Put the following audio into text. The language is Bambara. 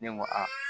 Ne ko a